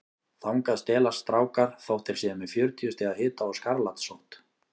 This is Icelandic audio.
Þangað stelast strákar þótt þeir séu með fjörutíu stiga hita og skarlatssótt.